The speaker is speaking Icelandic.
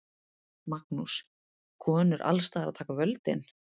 Magnús: Konur alls staðar að taka völdin?